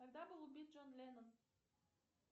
когда был убит джон леннон